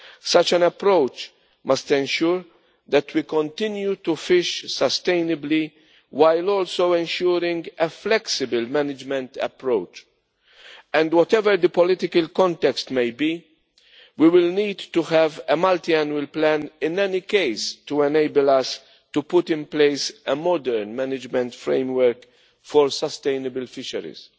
Such an approach must ensure that we continue to fish sustainably, while also ensuring a flexible management approach. Whatever the political context may be, we will need to have a multi annual plan in any case, to enable us to put in place a modern management framework for sustainable fisheries.